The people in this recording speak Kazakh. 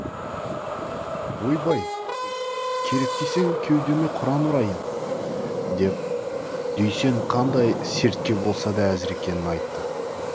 ойбай керек десең кеудеме құран ұрайын деп дүйсен қандай сертке болса да әзір екенін айтты